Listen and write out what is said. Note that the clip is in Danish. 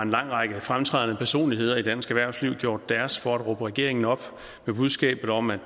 lang række fremtrædende personligheder i dansk erhvervsliv gjort deres for at råbe regeringen op med budskabet om at